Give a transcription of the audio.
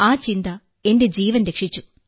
ആ ചിന്ത എന്റെ ജീവൻ രക്ഷിച്ചു